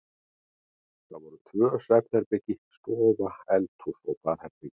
Það voru tvö svefnherbergi, stofa, eldhús og baðherbergi.